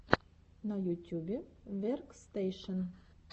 на ютюбе веркстэйшен